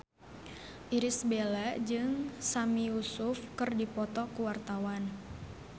Irish Bella jeung Sami Yusuf keur dipoto ku wartawan